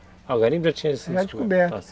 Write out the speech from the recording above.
Ah, o garimpo já tinha sido descoberto?